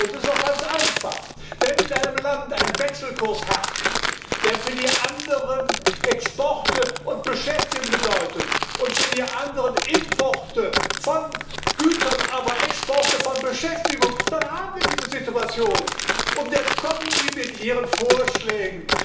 Es ist auch ganz einfach Wenn in einem Land ein Wechselkurs herrscht, der für die anderen Exporte und Beschäftigung bedeutet und für die anderen Importe von Gütern, aber Exporte von Beschäftigung, dann haben wir diese Situation. Jetzt kommen Sie mit Ihren Vorschlägen.